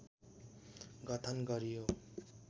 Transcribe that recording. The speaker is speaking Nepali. गठन गरियो